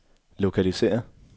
lokalisér